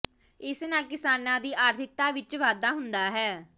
ਇਸ ਨਾਲ ਕਿਸਾਨਾਂ ਦੀ ਆਰਥਿਕਤਾ ਵਿੱਚ ਵਾਧਾ ਹੁੰਦਾ ਹੈ